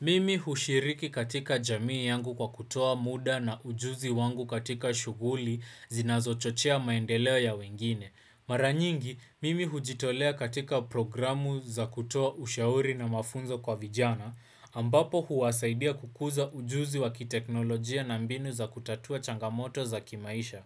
Mimi hushiriki katika jamii yangu kwa kutoa muda na ujuzi wangu katika shughuli zinazochochea maendeleo ya wengine. Mara nyingi, mimi hujitolea katika programu za kutoa ushauri na mafunzo kwa vijana, ambapo huwasaidia kukuza ujuzi wa kiteknolojia na mbinu za kutatua changamoto za kimaisha.